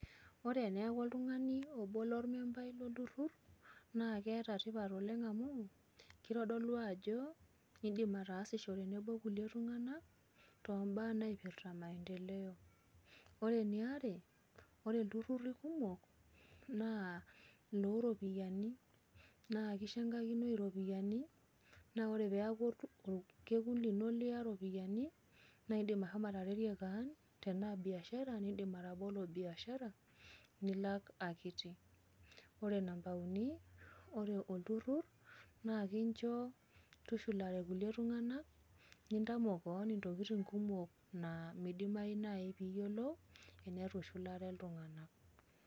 Ore peeaku oltung'ani obo lolmembai lolturrur naakeeta tipat oleng' amuu keitodolu ajo eidim ataasisho tenebo kulie tung'ana tombaa naipirta  maendeleo. Ore eniare, ore ilturruri kumok naa nooropiyani naa kishangakini iropiyani naa ore peaku olkekun lino liya iropiani naaidim ashomo ataretie kaan tenaa biashara nindim atabolo  biashara nilak akiti. Ore namba uni ore olturrur naakincho tushulare ilkulie tung'ana nintamok kaan intokitin kumok naa meidimayu nai piiyolou tenetuishulare iltung'anak.